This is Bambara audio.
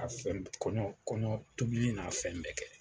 A fɛn kɔɲɔn kɔɲɔn tobili n'a fɛn bɛɛ kɛ.